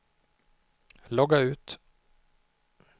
logga ut